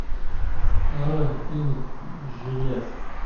нарой фильмик жилец